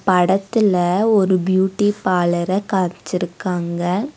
படத்துல ஒரு பியூட்டி பாலர காம்ச்சிருக்காங்க.